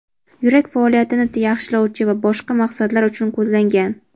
yurak faoliyatini yaxshilovchi va boshqa maqsadlar uchun ko‘zlangan.